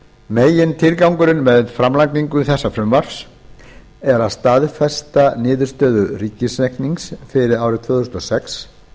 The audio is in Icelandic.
megintilgangurinn með framlagningu þessa frumvarps er að staðfesta niðurstöðu ríkisreiknings fyrir árið tvö þúsund og sex